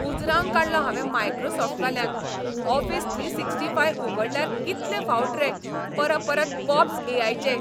उजरावन काडलो हावें मायक्रोसॉफ्टवाल्यांक, ऑफिस थ्री सिक्टी फाय उगडल्यार कितले फावट रे परपरत पॉपप्स ए.आय.चे!